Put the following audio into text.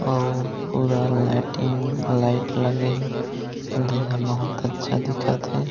अऊ पूरा lighting light लगे हे देहा बहुत अच्छा दिखत हे।